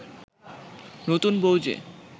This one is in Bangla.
নতুন বউ যে